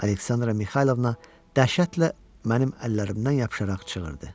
Aleksandra Mixaylovna dəhşətlə mənim əllərimdən yapışaraq çığırdı.